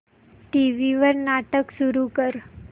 TV वर नाटक सुरू कर